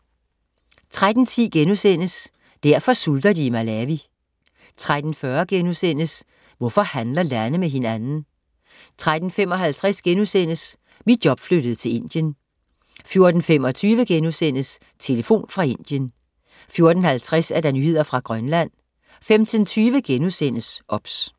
13.10 Derfor sulter de i Malawi* 13.40 Hvorfor handler lande med hinanden?* 13.55 Mit job flyttede til Indien* 14.25 Telefon fra Indien* 14.50 Nyheder fra Grønland 15.20 OBS*